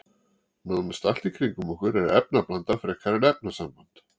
Nánast allt í kringum okkur er efnablanda frekar en efnasamband.